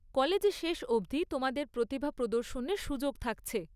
কলেজে শেষ অবধি তোমাদের প্রতিভা প্রদর্শনের সুযোগ থাকছে।